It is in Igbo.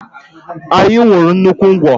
Anyị ṅurụ nnukwu ngwọ